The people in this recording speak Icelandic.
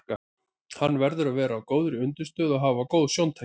Hann verður að vera á góðri undirstöðu og hafa góð sjóntæki.